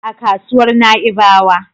A kasuwar Na'ibawa.